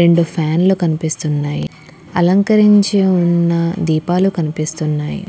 రెండు ఫ్యాన్లు కనిపిస్తున్నాయి. అలంకరించి ఉన్న దీపాలు కనిపిస్తున్నాయి.